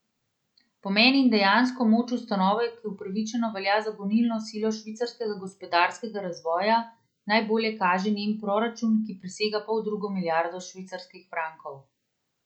Pomen in dejansko moč ustanove, ki upravičeno velja za gonilno silo švicarskega gospodarskega razvoja, najbolje kaže njen proračun, ki presega poldrugo milijardo švicarskih frankov.